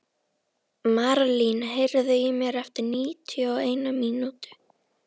Marlín, heyrðu í mér eftir níutíu og eina mínútur.